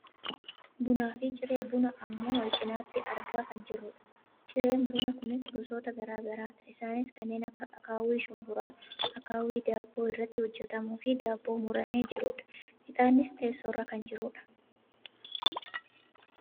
bunaafi ciree bunaa ammoo wal cinaatti argaa kan jirrudha. cireen bunaa kunis gosoota gara garaadha. Isaanis kanneen akka akkaawwii shumburaa, akkaawwii daabboo irraa hojjatamuufi daabboo muramee jirudha. Ixaannis teessoorra kan jirudha.